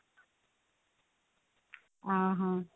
ଅ ହ